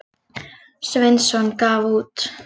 Sveinsson gaf út.